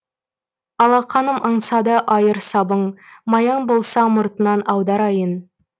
алақаным аңсады айыр сабын маяң болса мұртынан аударайын